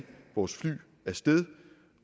vores fly